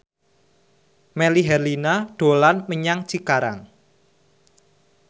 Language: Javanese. Melly Herlina dolan menyang Cikarang